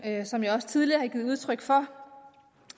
som jeg også tidligere har givet udtryk for